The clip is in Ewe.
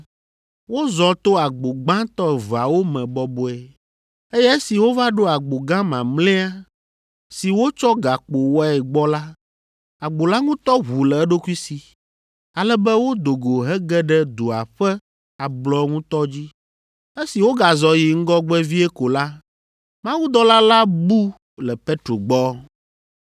Wozɔ to agbo gbãtɔ eveawo me bɔbɔe, eye esi wova ɖo agbo gã mamlɛa, si wotsɔ gakpo wɔe gbɔ la, agbo la ŋutɔ ʋu le eɖokui si, ale be wodo go hege ɖe dua ƒe ablɔ ŋutɔ dzi. Esi wogazɔ yi ŋgɔgbe vie ko la, mawudɔla la bu le Petro gbɔ.